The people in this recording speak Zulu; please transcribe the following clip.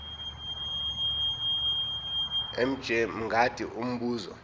mj mngadi umbuzo